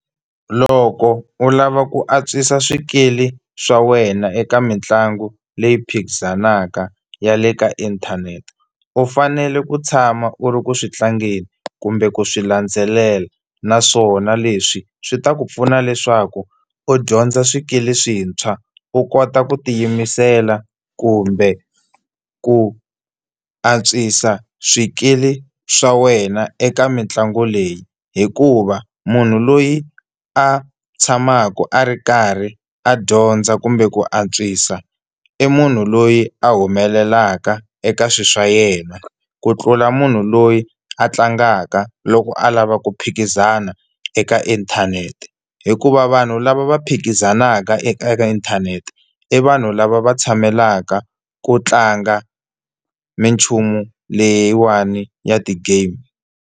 Loko u lava ku antswisa swikili swa wena eka mitlangu leyi phikizanaka ya le ka inthanete u fanele ku tshama u ri ku swi tlangeni kumbe ku swi landzelela, naswona leswi swi ta ku pfuna leswaku u dyondza swikili swintshwa u kota ku tiyimisela kumbe ku antswisa swikili swa wena eka mitlangu leyi, hikuva munhu loyi a tshamaka a ri karhi a dyondza kumbe ku antswisa i munhu loyi a humelelaka eka swi swa yena ku tlula munhu loyi a tlangaka loko a lava ku phikizana eka inthanete. Hikuva vanhu lava va phikizanaka eka inthanete i vanhu lava va tshamelaka ku tlanga minchumu leyiwani ya ti-game.